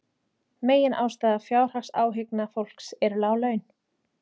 Meginástæða fjárhagsáhyggna fólks eru lág laun